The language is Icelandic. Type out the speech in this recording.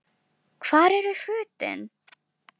Hvar eru fötin?